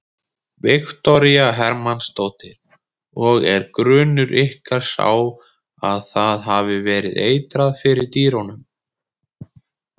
Viktoría Hermannsdóttir: Og er grunur ykkar sá að það hafi verið eitrað fyrir dýrum?